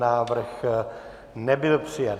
Návrh nebyl přijat.